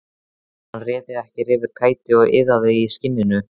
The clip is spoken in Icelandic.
Hann réði sér ekki fyrir kæti og iðaði í skinninu.